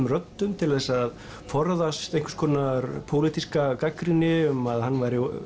röddum til að forðast einhvers konar pólitíska gagnrýni um að hann